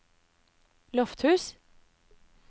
Lofthus